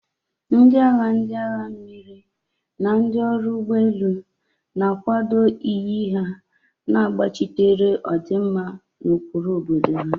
Ndị agha, ndị agha mmiri, na ndị ọrụ ụgbọ elu na-akwado iyi ha, na-agbachitere ọdịmma na ụkpụrụ obodo ha.